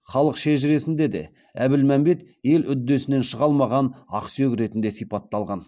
халық шежіресінде де әбілмәмбет ел үдесінен шыға алмаған ақсүйек ретінде сипатталған